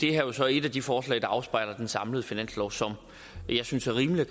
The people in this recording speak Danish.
er jo så et af de forslag der afspejler den samlede finanslov som jeg synes er rimelig og